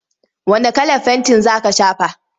Wane kalar fenti za ka shafa?